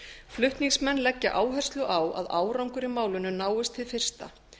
flutningsmenn leggja áherslu á að árangur í málinu náist hið fyrsta